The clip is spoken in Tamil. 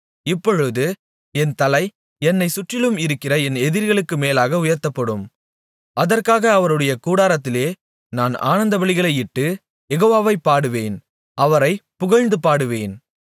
இப்பொழுது என் தலை என்னைச் சுற்றிலும் இருக்கிற என் எதிரிகளுக்கு மேலாக உயர்த்தப்படும் அதற்காக அவருடைய கூடாரத்திலே நான் ஆனந்தபலிகளையிட்டு யெகோவாவைப் பாடுவேன் அவரைப் புகழ்ந்துபாடுவேன்